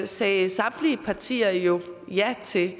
sagde samtlige partier jo ja til